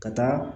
Ka taa